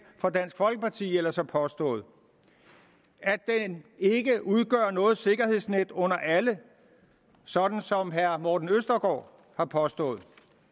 fra dansk folkeparti ellers har påstået at den ikke udgør noget sikkerhedsnet under alle sådan som herre morten østergaard har påstået